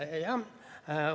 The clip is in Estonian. Jah.